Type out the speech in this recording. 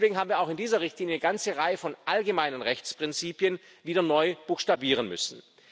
Deswegen haben wir auch in dieser Richtlinie eine ganze Reihe von allgemeinen Rechtsprinzipien wieder neu buchstabieren müssen.